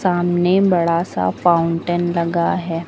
सामने बड़ा सा फाउंटेन लगा है।